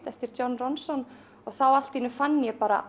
eftir John Ronson og þá allt í einu fann ég bara